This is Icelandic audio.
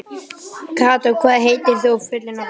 Kató, hvað heitir þú fullu nafni?